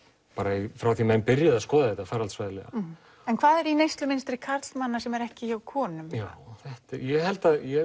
alveg frá því að menn byrjuðu að skoða þetta faraldsfræðilega en hvað er í neyslumynstri karlmanna sem er ekki hjá konum já ég held ég